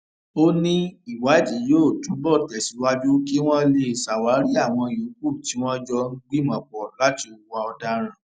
ó ní ìwádìí yóò túbọ tẹsíwájú kí wọn lè ṣàwárí àwọn yòókù tí wọn jọ ń gbìmọpọ láti hùwà ọdaràn